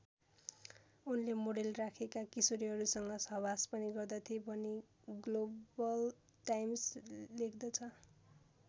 उनले मोडेल राखेका किशोरीहरूसँग सहवास पनि गर्दथे भनी ग्लोबल टाइम्स लेख्दछ।